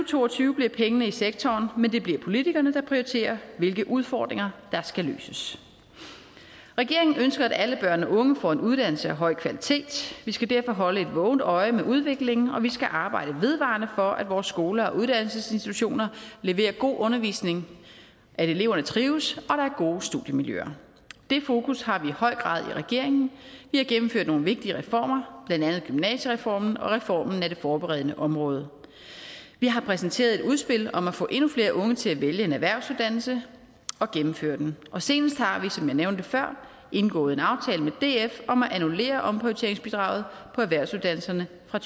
to og tyve bliver pengene i sektoren men det bliver politikerne der prioriterer hvilke udfordringer der skal løses regeringen ønsker at alle børn og unge får en uddannelse af høj kvalitet vi skal derfor holde et vågent øje med udviklingen og vi skal arbejde vedvarende for at vores skoler og uddannelsesinstitutioner leverer god undervisning at eleverne trives og gode studiemiljøer det fokus har vi i høj grad i regeringen vi har gennemført nogle vigtige reformer blandt andet gymnasiereformen og reformen af det forberedende område vi har præsenteret et udspil om at få endnu flere unge til at vælge en erhvervsuddannelse og gennemføre den og senest har vi som jeg nævnte før indgået en aftale med df om at annullere omprioriteringsbidraget på erhvervsuddannelserne fra